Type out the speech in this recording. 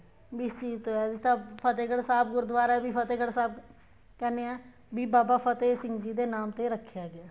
ਵੀ ਇਸ ਚੀਜ਼ ਦਾ ਤਾਂ ਫਤਿਹਗੜ੍ਹ ਸਾਹਿਬ ਗੁਰੂਦਆਰਾ ਵੀ ਫਤਿਹਗੜ੍ਹ ਸਾਹਿਬ ਕਹਿਣੇ ਆ ਵੀ ਬਾਬਾ ਫ਼ਤਿਹ ਸਿੰਘ ਜੀ ਦੇ ਨਾਮ ਤੇ ਰੱਖਿਆ ਗਿਆ